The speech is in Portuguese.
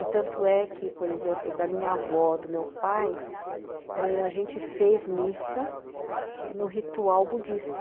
E tanto é que, por exemplo, da minha avó, do meu pai, ãh, a gente fez missa no ritual budista.